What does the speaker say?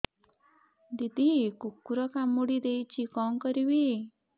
ଦିଦି କୁକୁର କାମୁଡି ଦେଇଛି କଣ କରିବି